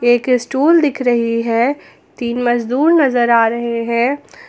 एक स्टूल दिख रही है तीन मजदूर नजर आ रहे हैं।